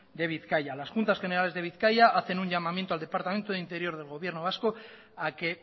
de bizkaia las juntas generales de bizkaia hacen un llamamiento al departamento de interior del gobierno vasco a que